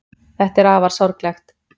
Þetta er afar sorglegt.